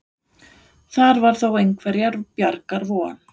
Þar var þó einhverrar bjargar von.